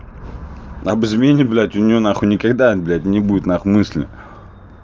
об измене блять у неё нахуй никогда блять не будет нахуй мысли